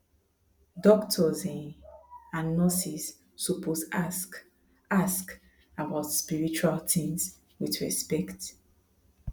doctors um and nurses suppose ask ask about spiritual things with respect